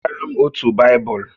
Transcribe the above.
Wetara m otu Baịbụl!